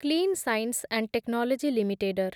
clean science and technology ଲିମିଟେଡର